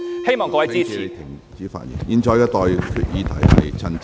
希望各位支持議案。